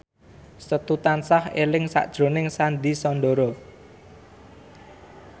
Setu tansah eling sakjroning Sandy Sandoro